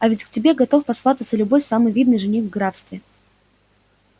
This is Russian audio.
а ведь к тебе готов посвататься любой самый видный жених в графстве